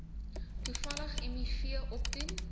toevallig miv opdoen